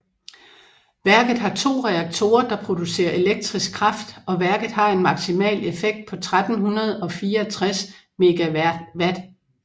Værket har to reaktorer der producerer elektrisk kraft og værket har en maksimal effekt på 1364 MW